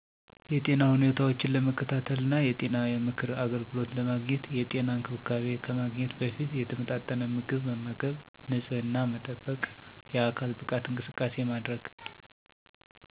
የጤና ሁኔታዎችን ለመከታተልና የጤና የምክር አገልግሎት ለመግኘት። የጤና እንክብካቤ ከማግኘት በፊት የተመጣጠነ ምግብ መመገብ፣ ንጽሕና መጠበቅ የአካል ብቃት እንቅስቃሴ ማድረግ